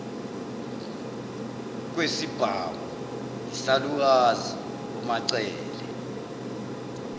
kwesibhamu yisalukazi umacele